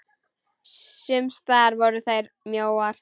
Sums staðar voru þær mjóar.